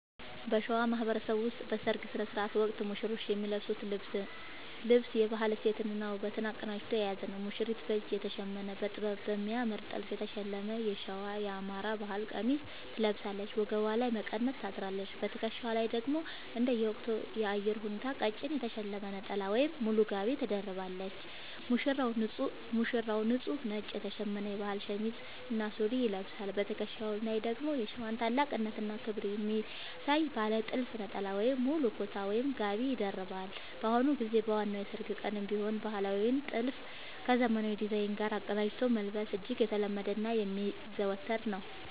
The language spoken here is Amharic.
በሸዋ ማህበረሰብ ውስጥ በሠርግ ሥነ ሥርዓት ወቅት ሙሽሮች የሚለብሱት ልብስ የባህል እሴትንና ውበትን አቀናጅቶ የያዘ ነው፦ ሙሽሪት፦ በእጅ የተሸመነ: በጥበብና በሚያምር ጥልፍ የተሸለመ የሸዋ (የአማራ) ባህል ቀሚስ ትለብሳለች። ወገቧ ላይ መቀነት ታስራለች: በትከሻዋ ላይ ደግሞ እንደየወቅቱ የአየር ሁኔታ ቀጭን የተሸለመ ነጠላ ወይም ሙሉ ጋቢ ትደርባለች። ሙሽራው፦ ንጹህ ነጭ የተሸመነ የባህል ሸሚዝ እና ሱሪ ይለብሳል። በትከሻው ላይ ደግሞ የሸዋን ታላቅነትና ክብር የሚያሳይ ባለ ጥልፍ ነጠላ ወይም ሙሉ ኩታ (ጋቢ) ይደርባል። በአሁኑ ጊዜ በዋናው የሠርግ ቀንም ቢሆን ባህላዊውን ጥልፍ ከዘመናዊ ዲዛይን ጋር አቀናጅቶ መልበስ እጅግ የተለመደና የሚዘወተር ነው።